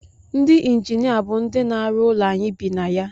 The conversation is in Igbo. Ndị injinia bụ ndị na-arụ ụlọ anyị bi na ya